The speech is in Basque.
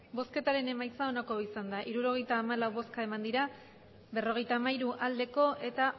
emandako botoak hirurogeita hamalau bai berrogeita hamairu abstentzioak